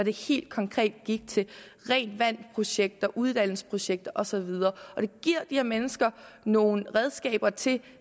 helt konkret gik til rent vand projekter uddannelsesprojekter og så videre og det giver de her mennesker nogle redskaber til